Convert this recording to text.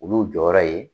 Olu jɔyɔrɔ ye